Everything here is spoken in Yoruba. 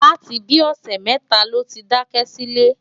láti bí i ọ̀sẹ̀ mẹ́ta ló ti daṣẹ́ sílẹ̀.